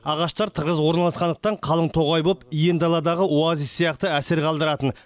ағаштар тығыз орналасқандықтан қалың тоғай болып иен даладағы оазис сияқты әсер қалдыратын